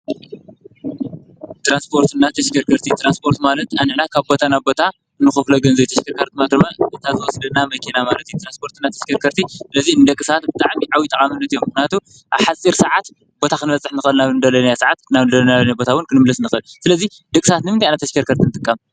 ትራንስፖርትን ተሽከርከርትን፡- ትራንስፖርት ማለት ኣንሕና ካብ ቦታ ናብ ቦታ እንኸፍሎ ገንዘብ እዩ፡፡ ተሽከርከርቲ ማለት ድማ እታ ትወስደና መኪና ማለት አዩ፡፡ ትራንስፖርትና ተሽከርከርቲ ነዙይ እዩንደቂ ሰባት ብጣዕሚ ዓብዬ ጥቕሚ ኣለዎ ማለት እዩ፡፡ ምኽንያቱ ኣብ ሓፂር ሰዓት ቦታ ኽንበጽሕ ንኽእል ኢና፡፡ ናብ ልደለናዮ ኣብ ልደለናዮ ሰዓት፣ ናብ ልደለናዮ ቦታ ውን ክንምለስ ንኽእል፡፡ ስለዙይ ደቂ ሰባት ንምንታይ ኢና ተሽከርከርቲ ንጥቀም?